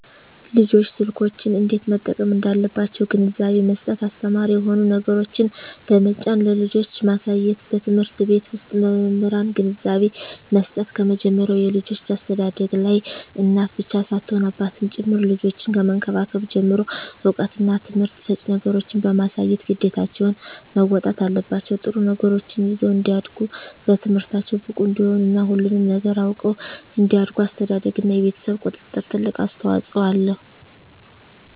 ልጆች ስልኮችን እንዴት መጠቀም እንዳለባቸዉ ግንዛቤ መስጠት አስተማሪ የሆኑ ነገሮችን በመጫን ለልጆች ማሳየትበትምህርት ቤት ዉስጥ በመምህራን ግንዛቤ መስጠት ከመጀመሪያዉ የልጆች አስተዳደግላይ እናት ብቻ ሳትሆን አባትም ጭምር ልጆችን ከመንከባከብ ጀምሮ እዉቀትና ትምህርት ሰጭ ነገሮችን በማሳየት ግዴታቸዉን መወጣት አለባቸዉ ጥሩ ነገሮችን ይዘዉ እንዲያድጉ በትምህርታቸዉ ብቁ እንዲሆኑ እና ሁሉንም ነገር አዉቀዉ እንዲያድጉ አስተዳደርግ እና የቤተሰብ ቁጥጥር ትልቅ አስተዋፅኦ አለዉ